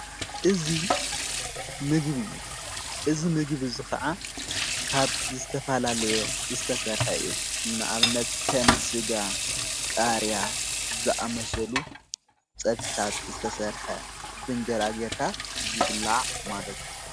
እዝ ምግብ እዩ እዝ ምግብእዙ ኸዓ ካብ ዝተፋላለየ ዝተሠርሐ እዩ እንኣብነት ከም ሥጋ ቃርያ ዝኣመሰሉ ጸድሕታት ዝተሠርሐ ብንጀራጌርካ ዝብላዕ ማለትእዩ።